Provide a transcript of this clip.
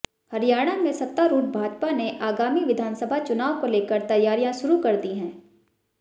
हरियाणा में सत्तारूढ़ भाजपा ने आगामी विधानसभा चुनाव को लेकर तैयारियां शुरू कर दी हैं